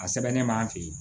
A sɛbɛnnen b'an fɛ yen